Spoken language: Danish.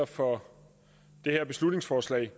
for forslaget